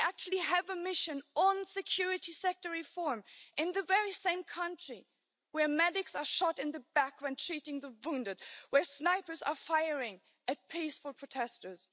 We actually have a mission on security sector reform in the very same country where medics are shot in the back when treating the wounded, where snipers are firing at peaceful protesters.